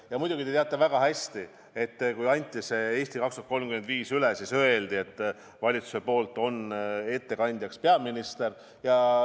Ja muidugi te teate väga hästi, et kui see "Eesti 2035" üle anti, siis öeldi, et valitsuse poolt on ettekandjaks peaminister.